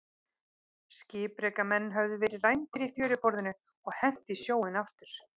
Skipreika menn höfðu verið rændir í fjöruborðinu og hent í sjóinn aftur.